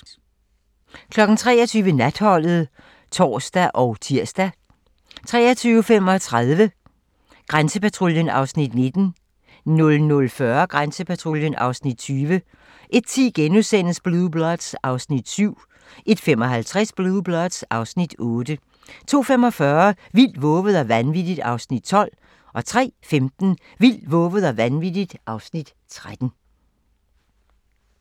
23:00: Natholdet (tor og tir) 23:35: Auktionshuset (Afs. 5) 00:10: Grænsepatruljen (Afs. 19) 00:40: Grænsepatruljen (Afs. 20) 01:10: Blue Bloods (Afs. 7)* 01:55: Blue Bloods (Afs. 8) 02:45: Vildt, vovet og vanvittigt (Afs. 12) 03:15: Vildt, vovet og vanvittigt (Afs. 13)